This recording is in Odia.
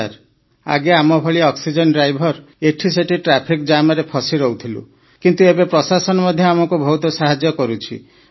ହଁ ସାର୍ ଆଗେ ଆମ ଭଳି ଅକ୍ସିଜେନ ଡ୍ରାଇଭର ଏଠି ସେଠି ଟ୍ରାଫିକ୍ ଜାମରେ ଫସି ରହୁଥିଲୁ କିନ୍ତୁ ଏବେ ପ୍ରଶାସନ ମଧ୍ୟ ଆମକୁ ବହୁତ ସାହାଯ୍ୟ କରୁଛି